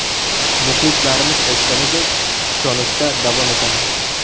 Muxlislarimiz aytganidek, ishonishda davom etamiz.